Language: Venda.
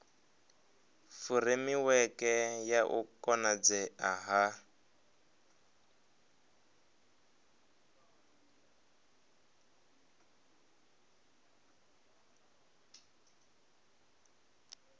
furemiweke ya u konadzea ha